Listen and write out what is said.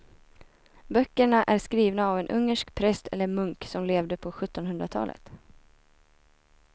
Böckerna är skrivna av en ungersk präst eller munk som levde på sjuttonhundratalet.